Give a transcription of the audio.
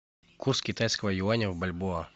курс китайского юаня в бальбоа